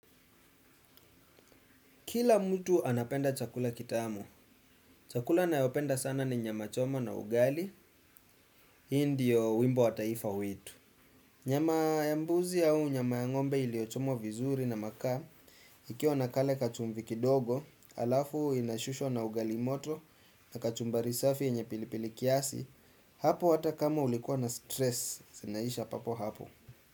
Kila mtu anapenda chakula kitamu. Chakula nayopenda sana ni nyama choma na ugali. Hii ndiyo wimbo wa taifa wetu. Nyama ya mbuzi au nyama ng'ombe iliyochoma vizuri na makaa. Ikiwa na kale kachumvi kidogo, alafu inashushwa na ugali moto na kachumbari safi yenye pilipili kiasi. Hapo hata kama ulikuwa na stress. Zinaisha papo hapo.